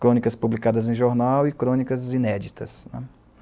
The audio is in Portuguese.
Crônicas publicadas em jornal e crônicas inéditas, né.